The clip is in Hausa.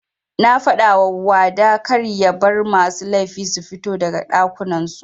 Nafadawa wada karya bar masu laifi sufito daga ɗakunan su.